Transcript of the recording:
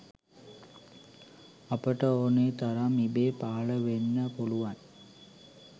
අපට ඕනෙ තරම් ඉබේ පහළ වෙන්න පුළුවන්